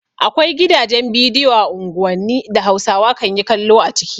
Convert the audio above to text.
Akwai gidajen bidiyo a unguwanni da Hausawa kan yi kallo a ciki.